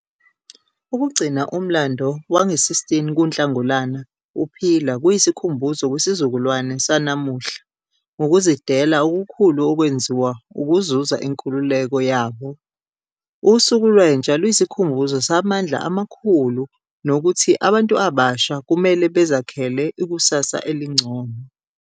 Ukugcina umlando wange-16 kuNhlangulana uphila kuyisikhumbuzo kwisizukulwane sanamuhla ngokuzidela okukhulu okwenziwa ukuzuza inkululeko yabo. Usuku Lwentsha luyisikhumbuzo samandla amakhulu nokuthi abantu abasha kumele bazakhele ikusasa elingcono.